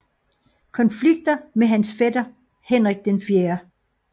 Konflikter med hans fætter Henrik 4